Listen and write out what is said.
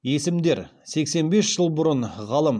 есімдер сексен бес жыл бұрын ғалым